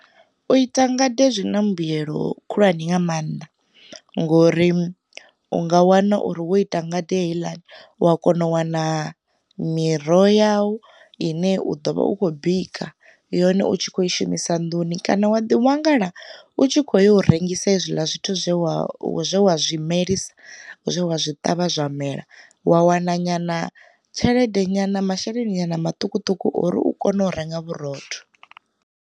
U ita ngade zwi na mbuyelo khulwane nga maanḓa, ngori u nga wana uri wo ita ngade heiḽani u a kona u wana miroho yawu ine u ḓo vha u khou bika yone utshi kho i shumisa nduni, kana wa ḓi wanala u tshi kho yo u rengisa hezwiḽa zwithu zwe wa zwe wa zwimelisa, zwe wa zwi ṱavha zwa mela, wa wana nyana tshelede nyana masheleni na maṱukuṱuku ori u kone u renga vhurotho.